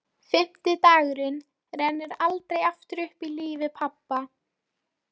Fimmti dagurinn rennur aldrei aftur upp í lífi pabba.